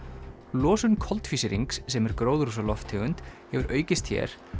losun koltvísýrings sem er gróðurhúsalofttegund hefur aukist hér